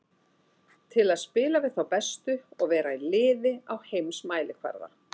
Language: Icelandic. Til að spila við þá bestu og vera í liði á heimsmælikvarða.